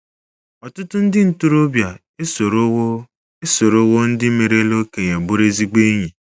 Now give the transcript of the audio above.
Ọtụtụ ndị ntorobịa esorowo esorowo ndị merela okenye bụrụ ezigbo enyi